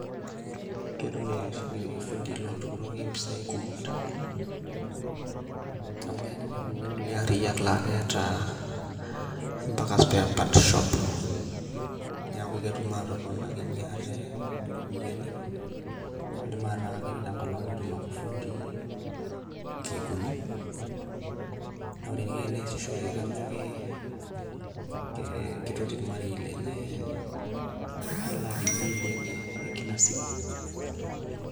kketum ifundii lotukituki impisai kumok tee nkolong amuu keloo ninepu ninye ilkulie ariiyak naa keata mpaka spare parts shops naa keidim atoponakinee aate mpisai na keidimai enaaa koree ake enkolong keetum akee ifundii nkeek uni naah koree eniko teneasishore naa kaajo keitoti irmarei lenye neelaak imbilii enye ya kila siku